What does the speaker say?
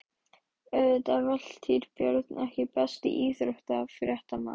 Auðvitað Valtýr Björn EKKI besti íþróttafréttamaðurinn?